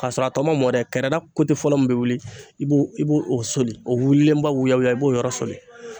K'a sɔrɔ a tɔ ma mɔ dɛ kɛrɛda fɔlɔ min bɛ wuli , i b'o soli , o wililenba, i b'o yɔrɔ soli.